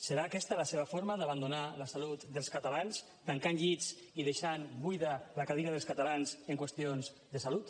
serà aquesta la seva forma d’abandonar la salut dels catalans tancant llits i deixant buida la cadira dels catalans en qüestions de salut